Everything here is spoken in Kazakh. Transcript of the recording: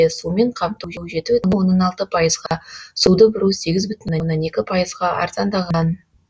сумен қамту жж жеті бүтін оннан алты пайызға суды бұру сегіз бүтін оннан екі пайызға арзандаған